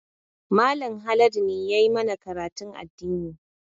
Mallam Haladu ne ya yi mana karatun addini